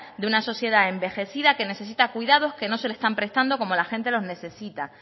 de una sociedad envejecida que necesita cuidados que no se le están prestando como la gente los necesita